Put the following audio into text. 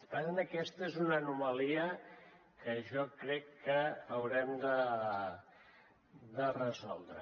per tant aquesta és una anomalia que jo crec que haurem de resoldre